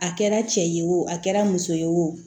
A kɛra cɛ ye wo a kɛra muso ye wo